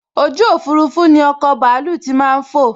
ojú òfurufú ni ọkọ̀ bàálù tí màá n fò